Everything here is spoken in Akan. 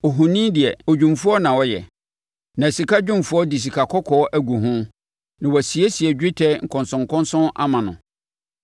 Ohoni deɛ, odwumfoɔ na ɔyɛ, na sikadwumfoɔ de sikakɔkɔɔ agu ho na wasiesie dwetɛ nkɔnsɔnkɔnsɔn ama no.